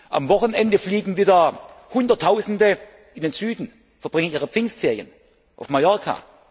Am Wochenende fliegen wieder Hunderttausende in den Süden, verbringen ihre Pfingstferien auf Mallorca.